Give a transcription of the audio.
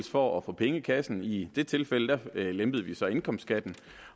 for at få penge i kassen i det tilfælde lempede vi så indkomstskatten